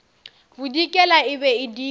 bodikela e be e dira